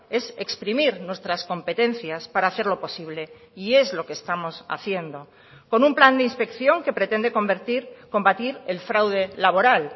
es exprimir nuestras competencias para hacerlo posible y es lo que estamos haciendo con un plan de inspección que pretende convertir combatir el fraude laboral